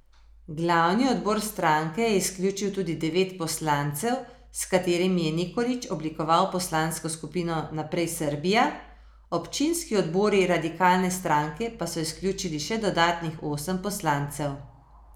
Glavni odbor stranke je izključil tudi devet poslancev, s katerimi je Nikolić oblikoval poslansko skupino Naprej Srbija, občinski odbori radikalne stranke pa so izključili še dodatnih osem poslancev.